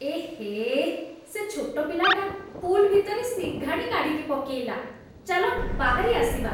ଏହେ! ସେ ଛୋଟ ପିଲାଟା ପୁଲ୍ ଭିତରେ ସିଙ୍ଘାଣି କାଢ଼ିକି ପକେଇଲା । ଚାଲ ବାହାରି ଆସିବା।